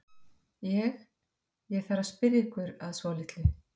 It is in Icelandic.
Ég. ég þarf að spyrja ykkur að svolitlu.